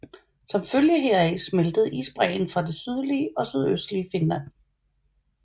Som følge heraf smeltede isbræen fra det sydlige og sydøstlige Finland